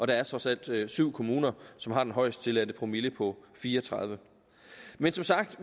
der er trods alt syv kommuner som har den højeste tilladte promille på fire og tredive men som sagt